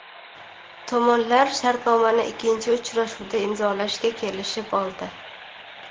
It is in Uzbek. Tomonlar shartnomani ikkinchi uchrashuvda imzolashga kelishib oldi.